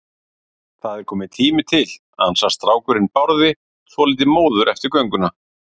Það er kominn tími til, ansar strákurinn Bárði, svolítið móður eftir gönguna.